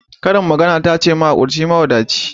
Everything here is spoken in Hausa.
Karin magana ta ce mahaƙurci mawadaci.